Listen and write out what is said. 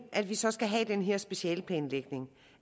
vi så skal have den her specialeplanlægning